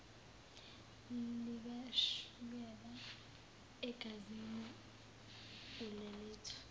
likashukela egazini ulelethu